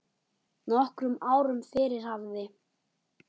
Nokkrum árum fyrr hafði